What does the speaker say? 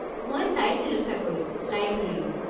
মই চাইছিলো চাগৈ, লাইব্ৰেৰীত।